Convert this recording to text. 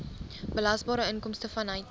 belasbare inkomste vanuit